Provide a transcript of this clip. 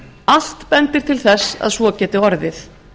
allt bendir til þess að svo geti orðið